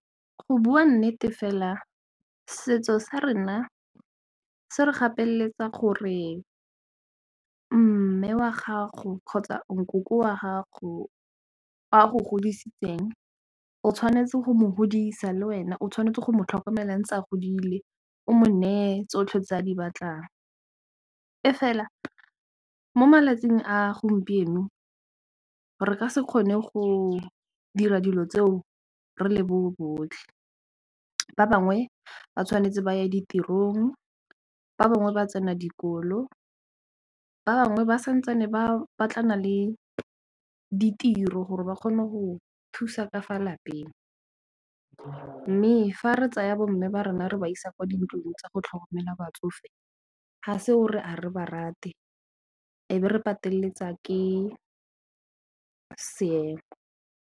Go bua nnete fela setso sa rona se re gapeletsega gore mme wa gago kgotsa nkoko wa gago o a go godisitseng o tshwanetse go mo godisa le wena o tshwanetse go mo tlhokomelang tsa a godile o money tsotlhe tse a di batlang e fela mo malatsing a gompieno re ka se kgone go dira dilo tseo re le bo botlhe, ba bangwe ba tshwanetse ba ye ditirong ba bangwe ba tsena dikolo ba bangwe ba santse ba ne ba batlana le ditiro gore ba kgone go thusa ka fa lapeng mme fa re tsaya bo mme ba re nna re ba isa kwa dintlong tsa go tlhokomela batsofe ha se o re ha re ba rate e be re pateletsa ke seomo.